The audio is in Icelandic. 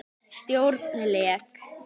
Stjórn LEK